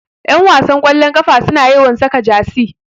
Ƴanwasan ƙwallon ƙafa suna yawan saka jasi